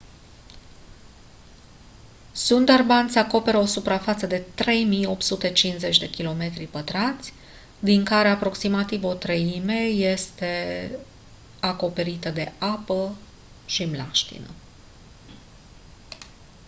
sundarbans acoperă o suprafață de 3850 km² din care aproximativ o treime este de află acoperite de apă/mlaștină